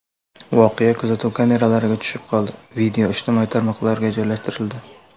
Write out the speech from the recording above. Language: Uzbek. Voqea kuzatuv kameralariga tushib qoldi, video ijtimoiy tarmoqlarga joylashtirildi.